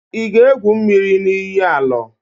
Ị ga-égwù mmiri na iyi Alọ?